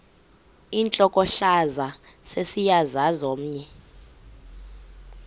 intlokohlaza sesisaz omny